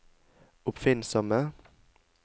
oppfinnsomme